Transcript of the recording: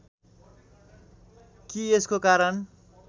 कि यसको कारण